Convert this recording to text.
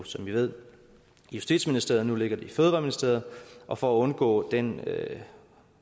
som i ved i justitsministeriet nu ligger det i fødevareministeriet og for at undgå den